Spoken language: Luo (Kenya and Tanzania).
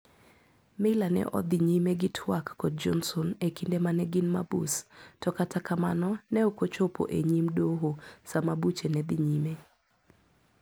Meyler ne odhi nyime gi twak kod Johnson ekinde mane gin mabus to kata kamano ne ok ochopo enyim doho sama buche ne dhi nyime.